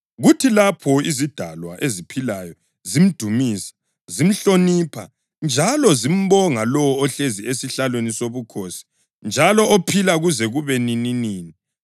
Kuthi lapho izidalwa eziphilayo zimdumisa, zimhlonipha njalo zimbonga lowo ohlezi esihlalweni sobukhosi njalo ophila kuze kube nininini,